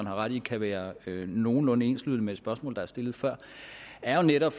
har ret i kan være nogenlunde enslydende med et spørgsmål der er stillet før er jo netop